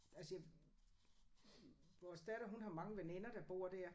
Altså jeg vores datter hun har mange veninder der bor dér